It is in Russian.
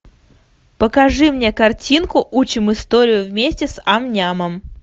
покажи мне картинку учим историю вместе с ам нямом